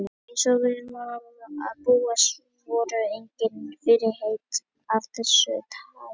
Eins og við var að búast voru engin fyrirheit af þessu tagi efnd.